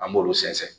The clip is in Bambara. An b'olu sɛnsɛn